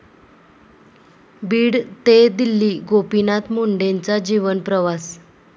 बीड ते दिल्ली...गोपीनाथ मुंडेंचा जीवनप्रवास!